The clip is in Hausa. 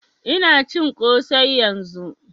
Ina cin kosai yanzun